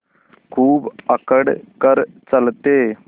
खूब अकड़ कर चलते